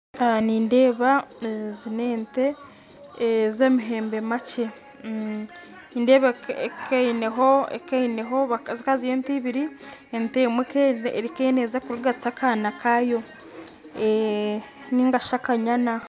Nindeeba ezi n'ente ez'amahembe makye nindeeba ekaba eineho ekaba eineho zikaba ziri ente ibiri ente emwe ekaba neeza kurigatsa akaana kayo nainga shi akanyana .